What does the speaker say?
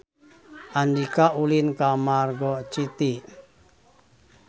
Andika ulin ka Margo City